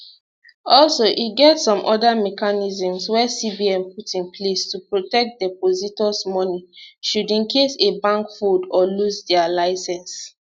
also e get some oda mechanisms wey cbn put in place to protect depositors money should in case a bank fold or lose dia licence